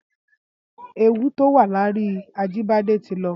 Éwu tó wà lóri Ajibade ti lọ